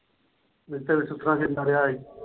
ਇਥੇ ਵੀ ਸੁੱਖ ਨਾਲ ਜਿੰਦਾ ਰਿਹਾ ਹੈ।